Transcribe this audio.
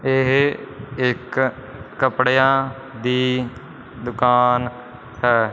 ਇਹ ਇੱਕ ਕੱਪੜਿਆਂ ਦੀ ਦੁਕਾਨ ਹੈ।